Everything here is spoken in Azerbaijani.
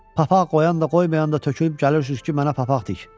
Papaq qoyan da, qoymayan da tökülüb gəlirsiniz ki, mənə papaq tik.